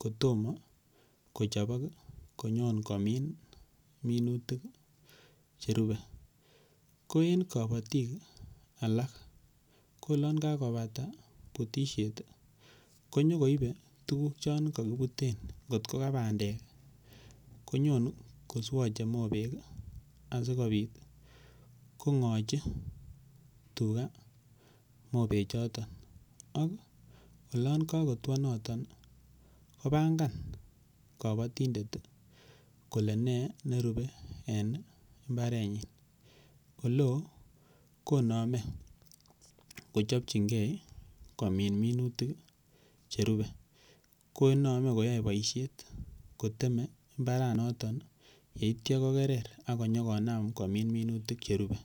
kotomo kochopok konyon komin minutik cherube ko en kobotik alak ko olon kakobata butishet konyokoibe tukuk chon kakibuten kotko ka bandek konyon koswoche mobek asikobit kong'ochi tuga mobechoto ak olon kakotwo noton kopangan kobotindet kole ne nerubei eng mbaretnyi oleo konome kochopchingei komin minutik che rupe konome koyoe boishet kotemei mbaranoton yeityo kokerer ako nyokonam komin minutik cherube.